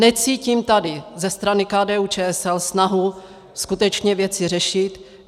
Necítím tady ze strany KDU-ČSL snahu skutečně věci řešit.